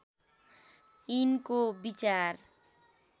यिनको विचार